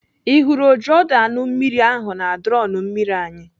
Ị hụrụ ojiọdụanụmmiri ahụ na drọn mmiri anyị?